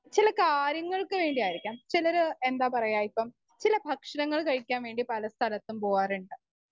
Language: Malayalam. സ്പീക്കർ 1 ചില കാര്യങ്ങൾക്ക് വേണ്ടിയായിരിക്കാം. ചിലര് എന്താ പറയുക ഇപ്പം ചില ഭക്ഷണങ്ങൾ കഴിക്കാൻ വേണ്ടി പലസ്ഥലത്തും പോവാറുണ്ട്.